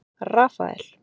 Rafael